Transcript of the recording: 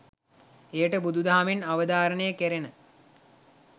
එයට බුදු දහමෙන් අවධාරණය කැරෙන